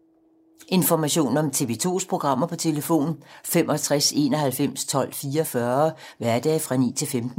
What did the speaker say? Information om TV 2's programmer: 65 91 12 44, hverdage 9-15.